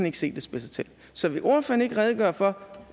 ikke se at det spidser til så vil ordføreren ikke redegøre for